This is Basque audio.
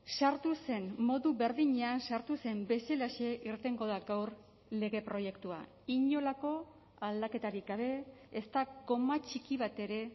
sartu zen modu berdinean sartu zen bezalaxe irtengo da gaur lege proiektua inolako aldaketarik gabe ez da koma txiki bat ere